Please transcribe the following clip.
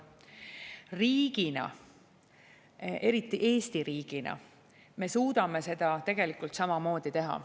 Riigina, eriti Eesti riigina me suudame seda tegelikult samamoodi teha.